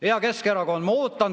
Hea Keskerakond!